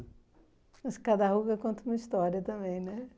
Mas cada ruga conta uma história também, né?